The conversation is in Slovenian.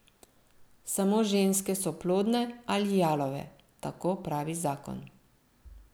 Samo ženske so plodne ali jalove, tako pravi zakon.